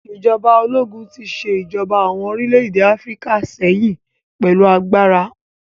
Ìjọba ológun tí ṣe ìjọba àwọn orílẹ̀-èdè Áfíríkà sẹ́yìn pẹ̀lú agbára